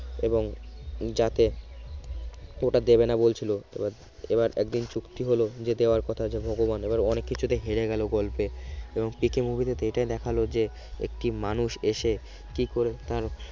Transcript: এবং যাতে ওটা দেবে না বলছিল এবার একদিন চুক্তি হলো যে দেওয়ার কথা আছে ভগবান এবার অনেক কিছুতে হেরে গেল গল্পে এবং পিকে movie টিতে এটি দেখালো যে একটি মানুষ এসে কিভাবে তার